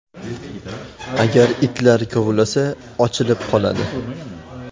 Agar itlar kovlasa, ochilib qoladi.